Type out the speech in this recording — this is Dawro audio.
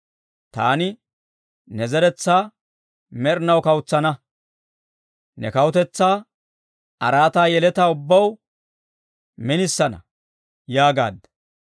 ‹Taani ne zeretsaa med'inaw kawutsana; ne kawutetsaa araataa yeletaa ubbaw minisana› » yaagaadda.